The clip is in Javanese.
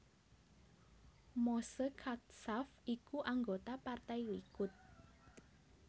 Moshe Katsav iku anggota Partai Likud